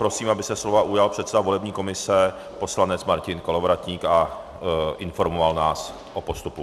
Prosím, aby se slova ujal předseda volební komise poslanec Martin Kolovratník a informoval nás o postupu.